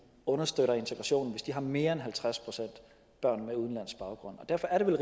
understøtter integrationen hvis de har mere end halvtreds procent børn med udenlandsk baggrund derfor er det vel